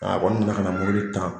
A kɔni nana kana mɔbili tan.